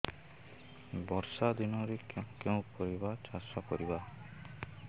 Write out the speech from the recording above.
ବର୍ଷା ଦିନରେ କେଉଁ କେଉଁ ପରିବା ଚାଷ କରିବା